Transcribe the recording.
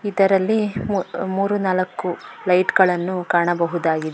ಇದರಲ್ಲಿ ಮೂರು ನಾಲ್ಕು ಲೈಟ್ ಗಳನ್ನ ಕಾಣಬಹುದಾಗಿದೆ.